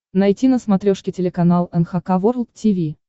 найти на смотрешке телеканал эн эйч кей волд ти ви